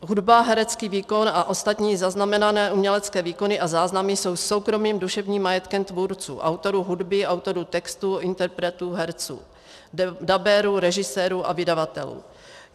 "Hudba, herecký výkon a ostatní zaznamenané umělecké výkony a záznamy jsou soukromým duševním majetkem tvůrců - autorů hudby, autorů textu, interpretů, herců, dabérů, režisérů a vydavatelů.